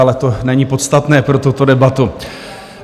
Ale to není podstatné pro tuto debatu.